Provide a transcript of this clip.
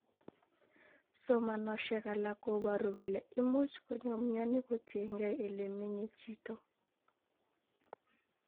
Somanosiek alak koboru kole imuch konyo myoni kotiengei ele menye chito